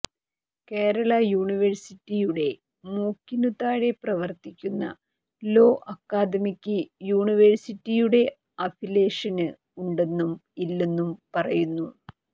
കേരള യൂണിവേഴ്സിറ്റിയുടെ മൂക്കിനു താഴെ പ്രവര്ത്തിക്കുന്ന ലോ അക്കാദമിക്ക് യൂണിവേഴ്സിറ്റിയുടെ അഫിലിയേഷന് ഉണ്ടെന്നും ഇല്ലെന്നും പറയുന്നു